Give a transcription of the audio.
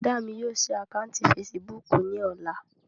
Bùrọ̀dá mi yóò ṣí àkáǹtì fesibúùkù ní ọ̀la